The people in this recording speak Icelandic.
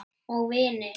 Og vinir.